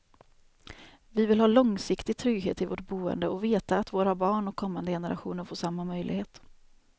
Vi vill ha långsiktig trygghet i vårt boende och veta att våra barn och kommande generationer får samma möjlighet.